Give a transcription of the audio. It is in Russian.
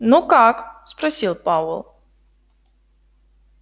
ну как спросил пауэлл